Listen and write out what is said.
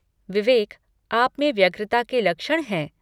विवेक, आप में व्यग्रता के लक्षण हैं।